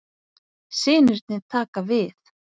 Synirnir taka við